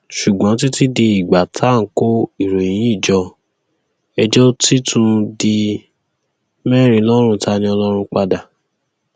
ṣùgbọn títí di ìgbà tá à ń kó ìròyìn yìí jọ ẹjọ ti tún di mẹrin lọrùn taniọlọrun padà